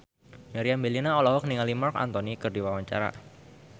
Meriam Bellina olohok ningali Marc Anthony keur diwawancara